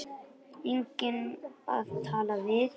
Enginn að tala við.